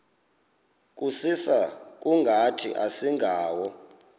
kusisa kungathi asingawo